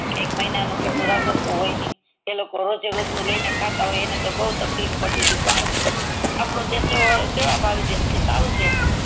એક મહિનાનું રાસન હોય ની તો રોજે રોજ નું લઈ ને ખાતા હોય એને તો બૌ તકલીફ પડતીતી પણ આપનો દેશ સેવ ભાવિ દેશ છે સારો છે